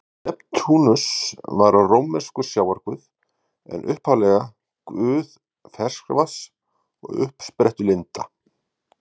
Neptúnus var rómverskur sjávarguð en upphaflega guð ferskvatns og uppsprettulinda.